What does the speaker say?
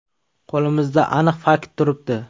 Qo‘limizda aniq fakt turibdi.